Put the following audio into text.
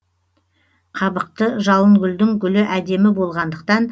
қабықты жалынгүлдің гүлі әдемі болғандықтан